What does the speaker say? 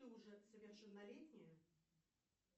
ты уже совершеннолетняя